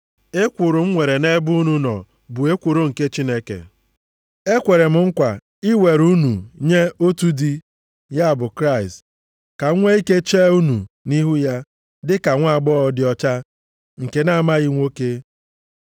Ekworo m nwere nʼebe unu nọ bụ ekworo nke Chineke. Ekwere m nkwa iwere unu nye otu di, ya bụ Kraịst, ka m nwe ike chee unu nʼihu ya dịka nwaagbọghọ dị ọcha nke na-amaghị nwoke.